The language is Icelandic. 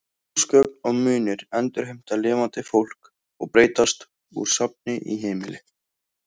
Húsgögn og munir endurheimta lifandi fólk og breytast úr safni í heimili.